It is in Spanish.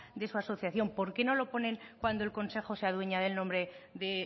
de su asociación por qué no lo ponen cuando el consejo se adueña del nombre de